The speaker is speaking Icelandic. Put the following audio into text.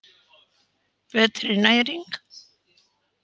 Betri næring